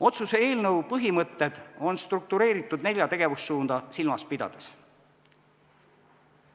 Otsuse eelnõu põhimõtted on struktureeritud nelja tegevussuunda silmas pidades.